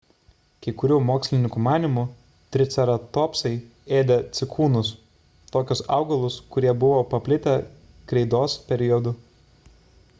kai kurių mokslininkų manymu triceratopsai ėdė cikūnus – tokius augalus kurie buvo paplitę kreidos periodu